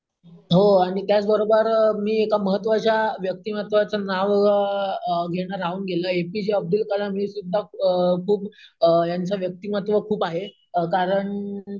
हो आणि त्याच बरोबर आहे मी एका महत्त्वाच्या व्यक्तिमत्वाचं नाव अम अम घेण राहून गेलंय, एपीजे अब्दुल कलाम हे सुद्धा अम यांचं व्यक्तिमत्त्व खूप आहे कारण